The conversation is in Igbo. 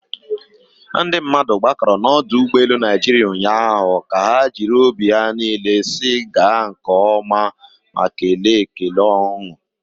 ndị mmadụ gbakọrọ na ọdụ ụgbọ elu Naịjirịa ụnyahụ ka ha jiri obi ha niile si gaa nke oma ma kelee ekele ọñụ